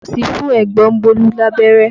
Nọ́ọ̀sì fún ẹ̀gbọ́n Bólú abẹ́rẹ́